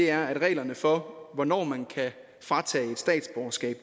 er at reglerne for hvornår man kan fratage et statsborgerskab